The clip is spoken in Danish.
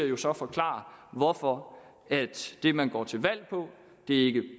jo så forklare hvorfor det man går til valg på ikke